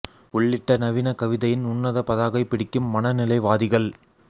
உள்ளிட்ட நவீன கவிதையின் உன்னத பதாகை பிடிக்கும் மனநிலை வாதிகள்